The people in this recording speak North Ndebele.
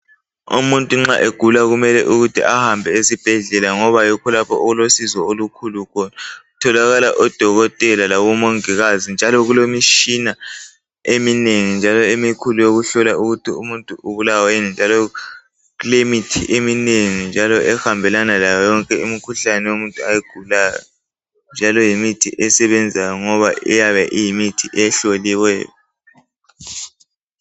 Umungu nxa egula kuyabe kumele ehambe esibhedlela ngoba yikho lapho okuyabe kulosizo khona kutholakala odokotela labomongikazi njalo kulemitshina eminengi njalo emikhulu eyokuhlola ukuthi umuntu ubulawa yini njalo kulemithi eminengi ehambelana layo yonke imikhuhlane yomuntu ayigulayo njalo yimithi esebenzayo ngoba iyabe iyimithi ehloliweyo